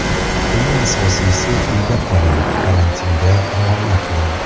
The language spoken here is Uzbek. Eng asosiysi, uyda qoling, karantinga rioya qiling.